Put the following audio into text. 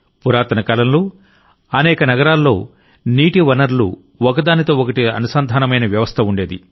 పురాతన కాలంలో అనేక నగరాల్లో నీటి వనరులు ఒకదానితో ఒకటి అనుసంధానమైన వ్యవస్థ ఉండేది